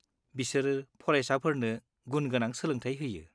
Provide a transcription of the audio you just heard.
-बिसोर फरायसाफोरनो गुनगोनां सोलोंथाय होयो।